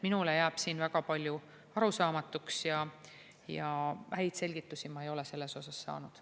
Minule jääb siin väga palju arusaamatuks ja häid selgitusi ma ei ole selles osas saanud.